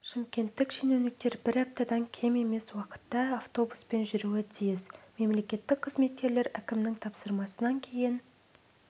шымкенттік шенеуніктер бір аптадан кем емес уақытта автобуспен жүруі тиіс мемлекеттік қызметкерлер әкімнің тапсырмасынан кейін